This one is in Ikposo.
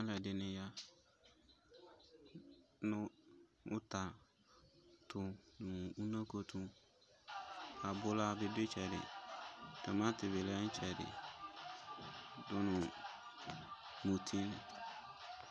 Alʋ ɛdini ya nʋ ʋta tʋ nʋ unoko tʋ, abʋla bi dʋ itsɛdi, tʋmati bi lɛ nʋ itsɛdi dʋ nʋ muti